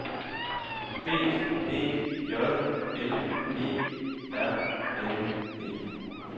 B E J L E R N E